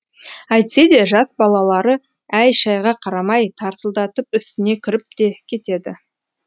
әйтсе де жас балалары әй шайға қарамай тарсылдатып үстіне кіріп те кетеді